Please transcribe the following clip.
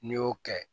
N'i y'o kɛ